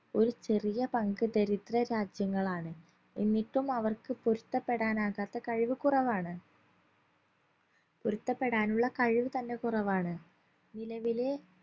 ഒരു ചെറിയ പങ്ക് ദരിദ്ര രാജ്യങ്ങളാണ് എന്നിട്ടും അവർക്ക് പൊരുത്തപ്പെടാനാകാത്ത കഴിവ് കുറവാണ് പൊരുത്തപ്പെടാനുള്ള കഴിവ് തന്നെ കുറവാണ് നിലവിലെ